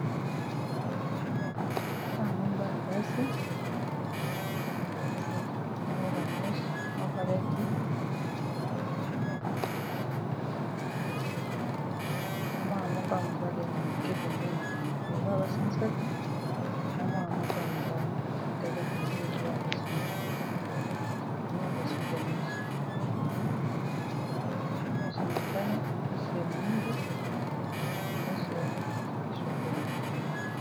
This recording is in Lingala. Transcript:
Awa namoni bana basi misatu, moko ya ba meshe, mosusu alati maneti, na mwana moko ya mobali moke pembeni na bango, donc eza bana basi misatu na mwana moko ya mobali, bakangi bango ba suki ya meshe, meshe ya motane, meshe ya mohindo na meshe ya shokola.